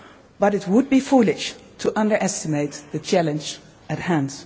But it would be foolish to underestimate the challenge at